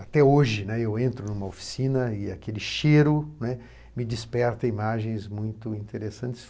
Até hoje, né, eu entro numa oficina e aquele cheiro, né, me desperta imagens muito interessantes.